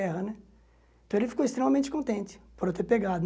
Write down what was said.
Guerra né então ele ficou extremamente contente por eu ter pegado.